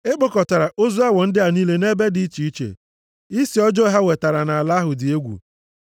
E kpokọtara ozu awọ ndị a niile nʼebe dị iche iche. Isi ọjọọ ha wetara nʼala ahụ dị egwu.